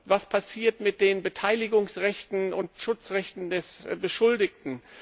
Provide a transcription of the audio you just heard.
Was passiert mit den Beteiligungsrechten und Schutzrechten des Beschuldigten?